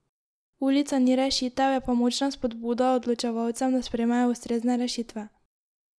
Ulica ni rešitev, je pa močna spodbuda odločevalcem, da sprejmejo ustrezne rešitve.